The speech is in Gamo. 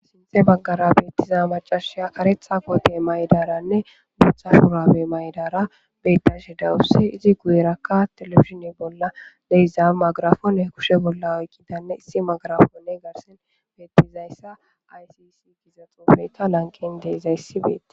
Shinthe baggara beettiza macashiya aretha wote maydaranne buutha shurabe maydara bedashe dawusse izi guyerakka telefishine bolla deiza magarafone kushe bolla oykidanne issi magarafonne garsin beettizayssa aysisi giza xoofeta lanqen deezayssi beette